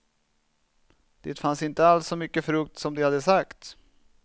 Det fanns inte alls så mycket frukt som de hade sagt.